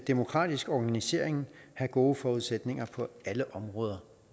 demokratisk organisering have gode forudsætninger på alle områder